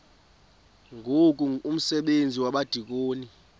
ngoku umsebenzi wabadikoni